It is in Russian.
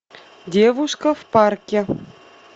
девушка в парке